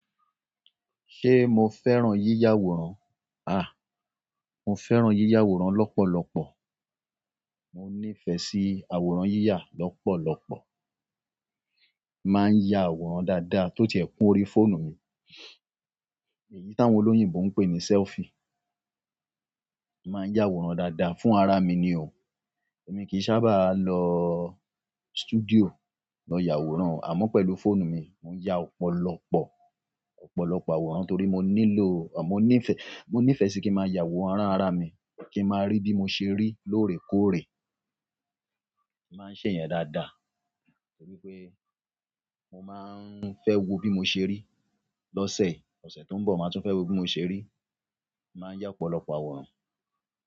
Ṣé mo fẹ́ràn yíyà àwòrán? Mo fẹ́ràn yíyà àwòrán lọ́pọ̀lọpọ̀. Mo níìfẹ̀ sí àwòrán yíyà lọ́pọ̀lọpọ̀. Mo máa ń ya àwòrán dáadáa tó ti ẹ̀ kún orí fóònù mi. Èyí táwọn olóyìnbo ń pè ní sẹ́lfì. Mo màá ń yà àwòrán dáadáa fún ara mi ni o. Èmi kì í sábà lọ stúdíò lọ yà àwòrán, àmọ́ pẹ̀lú fóònù mi, mò ń ya ọ̀pọ̀lọpọ̀, ọ̀pọ̀lọpọ̀ àwòrán torí mo nílò, à, mo ní ìfẹ́, mo ní ìfẹ́ sí kí ma ya àwòrán ara mi, kí ma rí bí mo ṣe rí lóòrèkóòrè. Màá ń ṣe ìyẹn dáadáa torí pé mo máa ń fẹ́ wo bí mo ṣe rí. Lọ́sẹ̀, ọ̀sẹ̀ tó ń bọ̀, màá tún fẹ́ wo bí mo ṣe rí. Màa ń yá ọ̀pọ̀lọpọ̀ àwòrán.